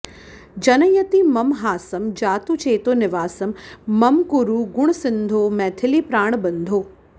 जनयति मम हासं जातु चेतोनिवासं मम कुरु गुणसिन्धो मैथिलीप्राणबन्धो